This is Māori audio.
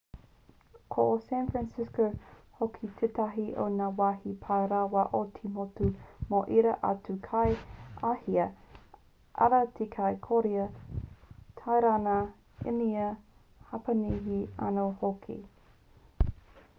ko san francisco hoki tētahi o ngā wāhi pai rawa o te motu mō ērā atu kai āhia arā te kai kōria tairana īnia hapanihi anō hoki